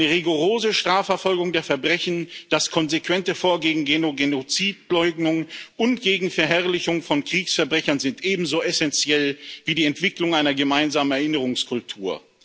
Eine rigorose Strafverfolgung der Verbrechen, das konsequente Vorgehen gehen Genozid Leugnung und gegen Verherrlichung von Kriegsverbrechern sind ebenso essenziell wie die Entwicklung einer gemeinsamen Erinnerungskultur.